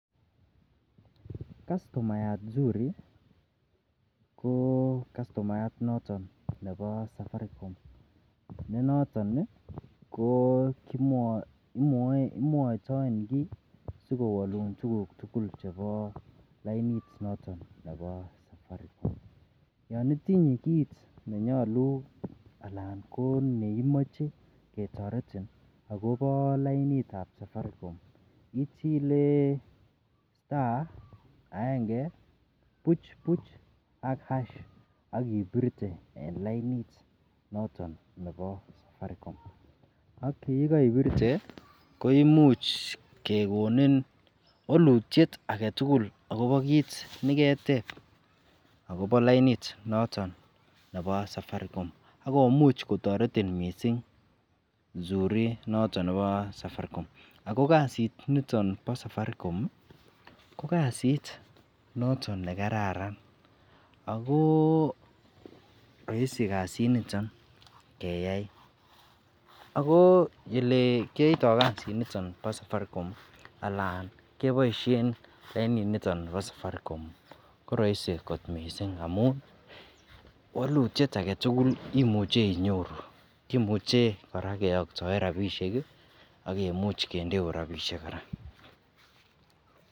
kastomayaat zuri, koo kastomayaat noton nebo safaricom ne noton iih imwoitoen kii sigowoluun tuguk tugul chebo lainiit noton nebo safaricom, yoon itinye kiit nenyolu alaan ko neimoche ketoretin agobo lainiit ab safaricom ichilee star aenge buch buch ak hash ak ibirte en lainit noton nebo safaricom, ak yegoibirte koimuch kegonin wolutyeet agetugul agobo kiit negeteeb agobo lainiit noton nebo safaricom ak komuuch kotoretin mising zuri noton nebo safaricom, ago kasiit niton bo safaricom iih ko kasiit noton negararan agoo roisi kasiit niton keyaai ago oleekiyoito kasiit niton bo safaricom, alan keboishen lainit niton bo safaricom koroisi kot mising amuun walutyeet agetugul imuche inyoruu, kimuche koraa keyoktoeen rabishek iih ak kemuuch kendeuu rabishek koraaa.